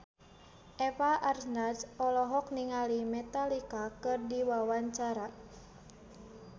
Eva Arnaz olohok ningali Metallica keur diwawancara